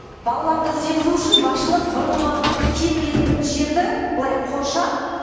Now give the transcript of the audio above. балаларды сыйғызу үшін басшылық бұрынғы киім ілетін жерді былай қоршап